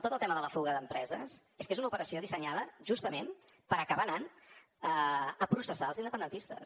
tot el tema de la fuga d’empreses és que és una operació dissenyada justament per acabar anant a processar els independentistes